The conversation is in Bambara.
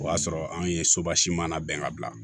O y'a sɔrɔ anw ye sobasiman bɛn ka bila